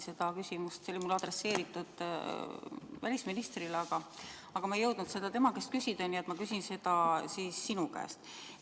Tegelikult oli mul küsimus välisministrile, aga ma ei jõudnud seda tema käest küsida, nii et ma küsin siis sinu käest.